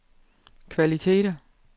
kvaliteter